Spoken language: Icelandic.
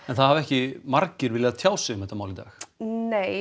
það hafa ekki margir viljað tjá sig um þetta mál í dag nei